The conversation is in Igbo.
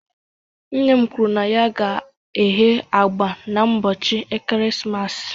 Nne m kwuru na ya ga-eghe agba n'ụbọchị ekeresimesi.